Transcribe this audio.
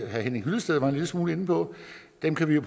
herre henning hyllested var en lille smule inde på dem kan vi jo